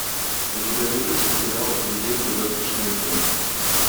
у тебя найдется сериал легенды завтрашнего дня